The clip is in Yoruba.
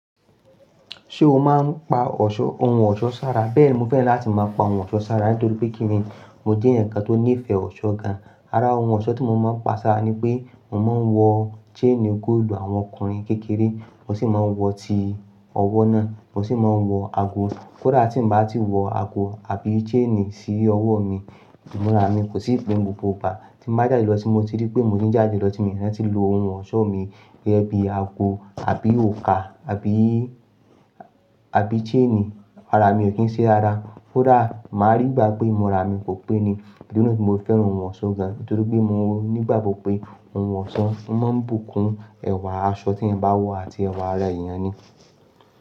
Ṣé o máa ń pa ọ̀ṣọ́ ohun ọ̀ṣọ́ sára? Bẹ́ẹ̀ni, mo fẹ́ràn láti máa pa ohun ọ̀ṣọ́ sára nítorí pé kínní mo jẹ́ ẹ̀yan nkan tó nífẹ̀ẹ́ ọ̀ṣọ́ gan-an. Ara ohun ọ̀ṣọ́ tí mo máa ń pa sára nipé mo máa ń wọ chain gold àwọn ọkùnrin kékeré, mo sì máa ń wọ ti ọwọ́ náà, mo sì máa ń wọ ago. Kódà tí n bá ti wọ ago àbí chain sí ọwọ́ mi, ìmúra mi kò sì pé gbogbo igba. Tí mo bá jáde lọ tí mo ti rí pé mo ti ń jáde lọ tí mo rántí lọ ohun ọ̀ṣọ́ mi gẹ́gẹ́ bí ago àbí òrùka àbí, àbí chain, arami ò kín ṣe rara. Kódà máa rí gbà pé ìmúra mi kò pé ni, bíi mo fẹ́ran ohun ọ̀ṣọ́ gan-an. Nítorí pé mo nígbàgbọ́ pé ohun ọ̀ṣọ́ máa ń bùkún ẹ̀wà aṣọ tí n bá wọ̀ àti ẹ̀wà ara èèyàn ni.